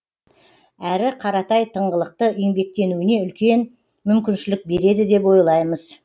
әрі қаратай тыңғылықты еңбектенуіне үлкен мүмкіншілік береді деп ойлаймыз